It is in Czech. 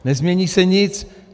Nezmění se nic.